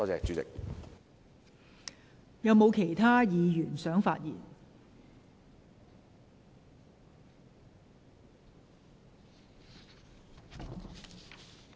是否有其他議員想發言？